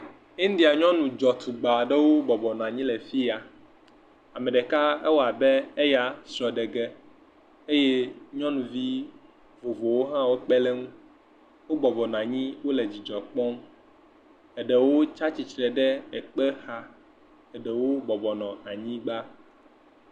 India nyɔnu dzetugbe aɖewo bɔbɔnɔ anyi ɖe afi ya. Ame ɖeka ewɔ abe eyia srɔ̃ɖege eye nyɔnuvi vovovowo hã kpe ɖe eŋu. wo bɔbɔnɔ anyi wo le dzidzɔ kpɔm eɖewo tsi atsitre ɖe ekpe xa, eɖewo bɔbɔnɔ anyigba.